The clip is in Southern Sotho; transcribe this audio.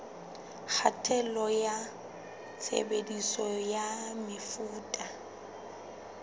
kgatello ya tshebediso ya mefuta